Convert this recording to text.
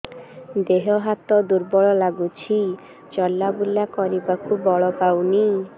ଦେହ ହାତ ଦୁର୍ବଳ ଲାଗୁଛି ଚଲାବୁଲା କରିବାକୁ ବଳ ପାଉନି